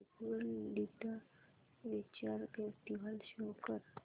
Jaipur literature festival show कर